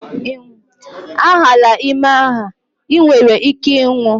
A hala ime a, i nwere ike ịnwụ!